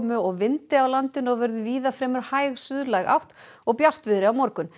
og vindi á landinu og verður víða fremur hæg átt og bjartviðri á morgun